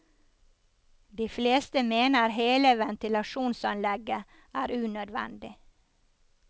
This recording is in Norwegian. De fleste mener hele ventilasjonsanlegget er unødvendig.